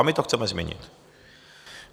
A my to chceme změnit.